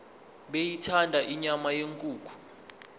beyithanda inyama yenkukhu